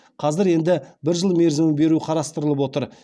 қазір енді бір жыл мерзім беру қарастырылып отыр